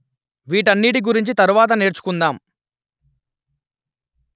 వీటన్నిటి గురించి తరువాత నేర్చుకుందాం